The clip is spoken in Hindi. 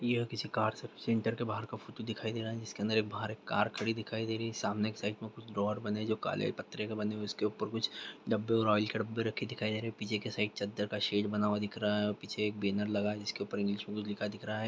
यह किसी कार सर्विस सेंटर के बाहर का फोटो दिखाई रहा है जिसके अंदर एक बाहर एक कार खड़ी दिखाई दे रही है सामने के साइड में कुछ ड्रॉर बने है जो काले पत्रे के बने हुए हैं इसके के ऊपर कुछ डब्बे आयल के डब्बे रखे दिखाई दे रहे हैं पीछे के साइड चद्दर का शेड बना हुआ दिख रहा है और पीछे एक बैनर लगा है जिसके ऊपर इंग्लिश में कुछ लिखा दिख रहा है।